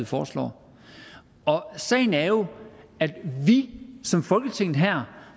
foreslår sagen er jo at vi som folketing her